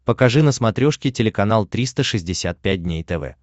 покажи на смотрешке телеканал триста шестьдесят пять дней тв